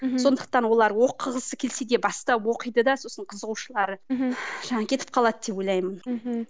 мхм сондықтан олар оқығысы келсе де бастап оқиды да сосын қызығушылықтары мхм жаңағы кетіп қалады деп ойлаймын мхм